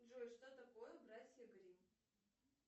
джой что такое братья гримм